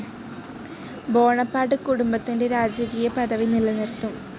Bonaparte കുടുംബത്തിൻ്റെ രാജകീയ പദവി നിലനിർത്തും.